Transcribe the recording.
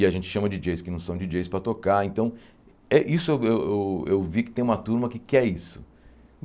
E a gente chama Di dJeis que não são Di dJeis para tocar, então... Eh isso eu eu eu vi que tem uma turma que quer isso.